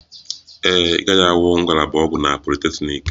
Ee e, ị gaghị ahụ ngalaba ọgwụ na politeknik